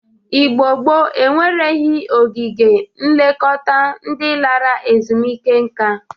Igbo gboo enwereghi ogige nlekọta ndị lara ezumeike nka.